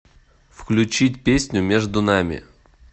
включить песню между нами